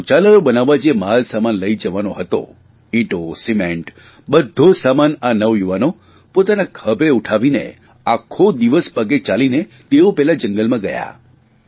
શૌચાલયો બનાવવા જે માલસામાન લઇ જવાનો હતો ઇંટો સિમેન્ટ્સ બધ્ધો સામાન આ નવયુવાનો પોતાના ખભે ઉઠાવીને આખો દિવસ પગે ચાલીને તેઓ પેલા જંગલમાં ગયા